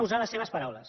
usarem les seves paraules